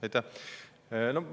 Aitäh!